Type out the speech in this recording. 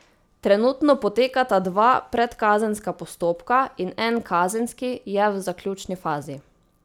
Trenutno potekata dva predkazenska postopka in en kazenski je v zaključni fazi.